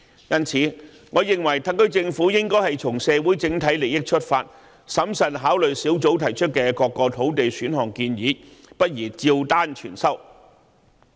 因此，我認為特區政府應從社會整體利益出發，審慎考慮專責小組提出的各個土地選項建議，不宜照單全收。